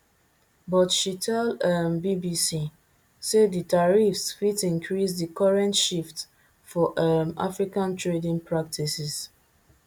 but she tell um bbc say di tariffs fit increase di current shift for um africa trading practices